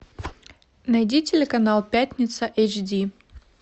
найди телеканал пятница эйч ди